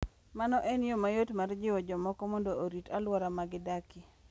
Mano en yo mayot mar jiwo jomoko mondo orit alwora ma gidakie.